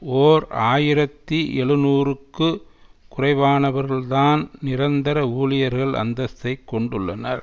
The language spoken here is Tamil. ஓர் ஆயிரத்தி எழுநூறுக்கு குறைவானவர்கள்தான் நிரந்தர ஊழியர்கள் அந்தஸ்த்தை கொண்டுள்ளனர்